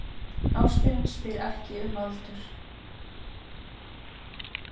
Ástin spyr ekki um aldur